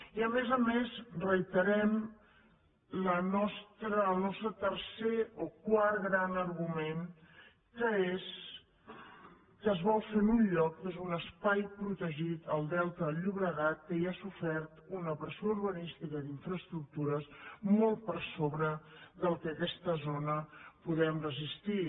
i a més a més reiterem el nostre tercer o quart gran argument que és que es vol fer en un lloc que és un espai protegit el delta del llobregat que ja ha sofert una pressió urbanística i d’infraestructures molt per sobre del que a aquesta zona podem resistir